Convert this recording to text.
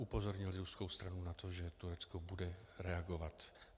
Upozornili ruskou stranu na to, že Turecko bude reagovat.